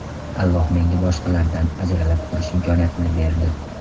Alloh menga boshqalardan ajralib turish imkoniyatini berdi.